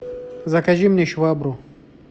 закажи мне швабру